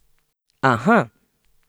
Aha!